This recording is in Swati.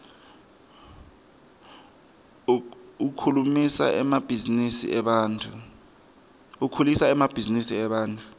ukhulisa emabhzinisi ebantfu